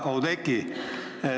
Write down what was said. Hea Oudekki!